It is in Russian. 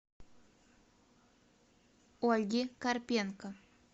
ольги карпенко